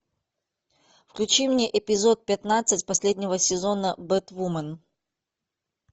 включи мне эпизод пятнадцать последнего сезона бэтвумен